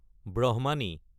ব্ৰাহ্মণী